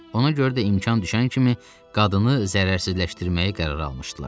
Ona görə də imkan düşən kimi qadını zərərsizləşdirməyi qərara almışdılar.